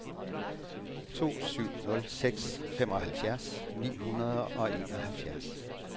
to syv nul seks femoghalvfjerds ni hundrede og enoghalvtreds